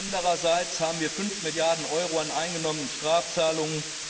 Andererseits haben wir 5 Milliarden Euro an eingenommenen Strafzahlungen.